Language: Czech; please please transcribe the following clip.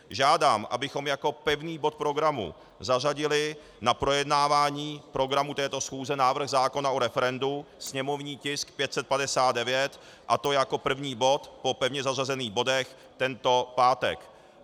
Žádám, abychom jako pevný bod programu zařadili na projednávání programu této schůze návrh zákona o referendu, sněmovní tisk 559, a to jako první bod po pevně zařazených bodech tento pátek.